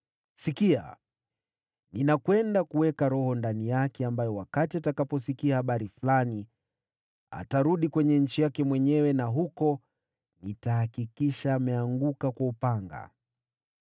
Sikiliza! Nitatia roho fulani ndani yake ili atakaposikia taarifa fulani, atarudi nchi yake mwenyewe, nami huko nitafanya auawe kwa upanga.’ ”